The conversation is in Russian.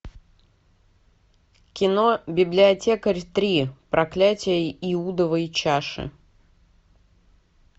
кино библиотекарь три проклятие иудовой чаши